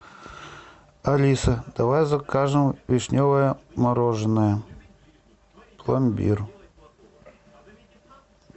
алиса давай закажем вишневое мороженое пломбир